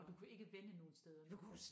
Og du kunne ikke vende nogen steder